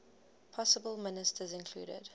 possible ministers included